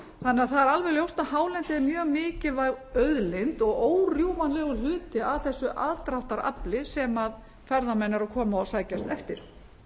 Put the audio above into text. að það er alveg ljóst að hálendið er mjög mikilvæg auðlind og órjúfanlegurhluti af þessu aðdráttarafli sem ferðamenn eru að koma og sækjast eftir